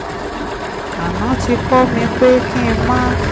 aná ti kọ́ mi pé kí n máa